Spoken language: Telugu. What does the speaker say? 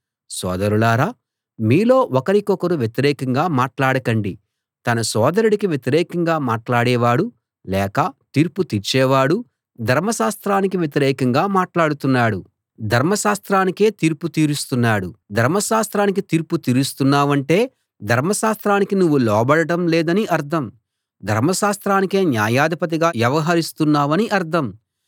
సోదరులారా మీలో ఒకరికొకరు వ్యతిరేకంగా మాట్లాడకండి తన సోదరుడికి వ్యతిరేకంగా మాట్లాడేవాడు లేక తీర్పు తీర్చేవాడు ధర్మశాస్త్రానికి వ్యతిరేకంగా మాట్లాడుతున్నాడు ధర్మశాస్త్రానికే తీర్పు తీరుస్తున్నాడు ధర్మశాస్త్రానికి తీర్పు తీరుస్తున్నావంటే ధర్మశాస్త్రానికి నువ్వు లోబడడం లేదని అర్థం ధర్మశాస్త్రానికే న్యాయాధిపతిగా వ్యవహరిస్తున్నావని అర్థం